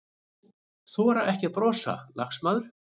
Þora ekki að brosa, lagsmaður.